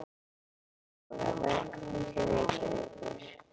Kæra Þóra. Velkomin til Reykjavíkur.